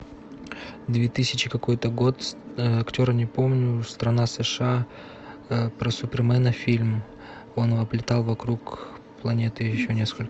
две тысячи какой то год актера не помню страна сша про супермена фильм он облетал вокруг планеты еще несколько